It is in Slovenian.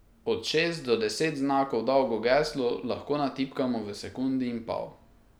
Od šest do deset znakov dolgo geslo lahko natipkamo v sekundi in pol.